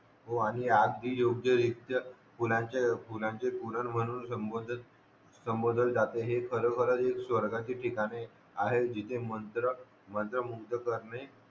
हो आणि आज योग्यरीत्या जे फुलांचे फुलांचे कुडाळ म्हणून संबधोल जाते हे खरखर हे एक स्वर्गाची ठिकाणे आहेत जाते मंत्र मुक्त करणे